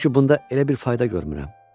Çünki bunda elə bir fayda görmürəm.